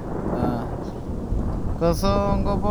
Calaamaduhu waxay u dhaxayn karaan khafiif ilaa daran.